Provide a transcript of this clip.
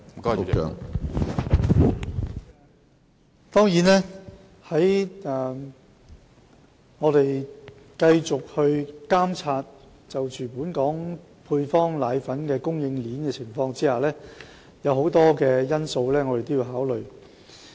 我們會繼續監察本港配方粉供應鏈的情況，有很多因素我們都要考慮。